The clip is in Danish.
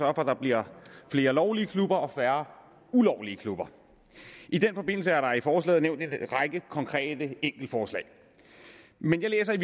at der bliver flere lovlige klubber og færre ulovlige klubber i den forbindelse er der i forslaget nævnt en række konkrete enkeltforslag men jeg læser i